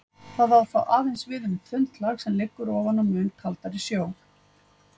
Það á þó aðeins við um þunnt lag sem liggur ofan á mun kaldari sjó.